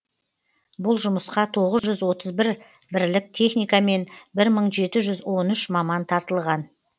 бұл жұмысқа тоғыз жүз отыз бір бірлік техника мен бір мың жеті жүз он үш маман тартылған